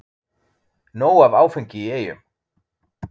Nóg af áfengi í Eyjum